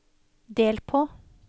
del på